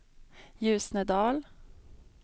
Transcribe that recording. Ljusnedal